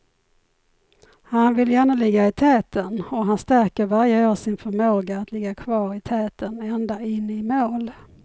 Han vill gärna ligga i täten och han stärker varje år sin förmåga att ligga kvar i täten ända in i mål.